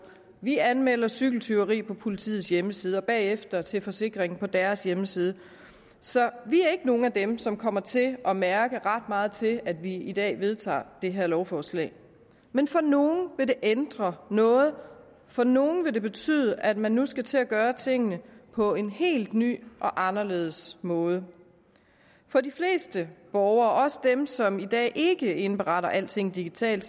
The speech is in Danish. vi anmelder cykeltyveri på politiets hjemmeside og bagefter til forsikringen på deres hjemmeside så vi er ikke nogen af dem som kommer til at mærke ret meget til at vi i dag vedtager det her lovforslag men for nogle vil det ændre noget for nogle vil det betyde at man nu skal til at gøre tingene på en helt ny og anderledes måde for de fleste borgere også dem som i dag ikke indberetter alting digitalt